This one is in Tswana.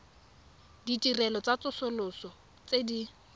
ditirelo tsa tsosoloso tse di